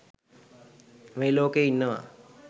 මේ ලෝකෙ ඉන්නවා.